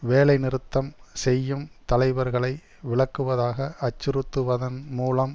வேலை நிறுத்தம் செய்யும் தலைவர்களை விலக்குவதாக அச்சுறுத்துவதன் மூலம்